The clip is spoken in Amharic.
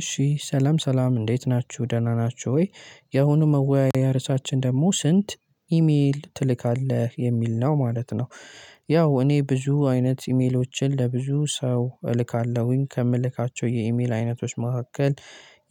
እሺ ሰላም ሰላም እንዴት ናችሁ ደህና ናችሁ ወይ ያሁኑ መወያያ ርዕሳችን ደግሞ ስንት ኢሜል ትልካለህ የሚል ነው ማለት ነው? ያው እኔ ብዙ አይነት ኢሜሎችን ለብዙ ሰው እልካለሁኝ ከምልካቸው የኢሜል አይነቶች መካከል